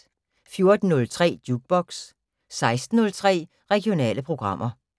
14:03: Jukebox 16:03: Regionale programmer